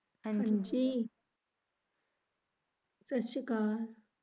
ਹਾਂਜੀ ਤੁਸੀਂ ਕੌਣ?